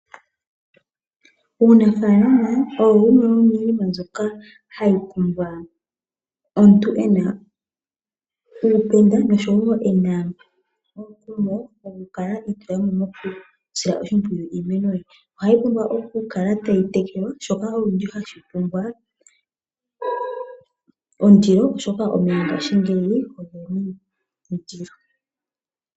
Uunafaalama owo wumwe womiinima mbyoka hayi pumbwa omuntu ena uupenda ngaashi mboka woku kala wuna omukumo gwoku kala iitulamo mokutseya iimeno ye. Ohayi pumbwa oku kala tayi tekelwa shoka olundji hashi pumbwa ondilo oshoka omeya ngaashingeyi ogeli gena ondilo.